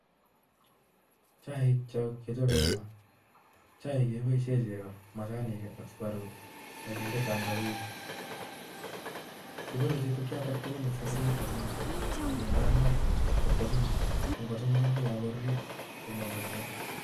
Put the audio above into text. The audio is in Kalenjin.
Chaik cho, kechobe eng' maa. Chaik cho keboisie majanik, ak sukaruk. Akinde tangawizi. Kipuruchi chukchotok tugul eng' saburiet agenge, akelal maat kotko chemukan. Ko ngo chemukan kokakorurio, koamchei kee